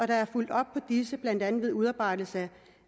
der er fulgt op på disse blandt andet ved udarbejdelse